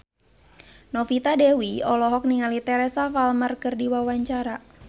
Novita Dewi olohok ningali Teresa Palmer keur diwawancara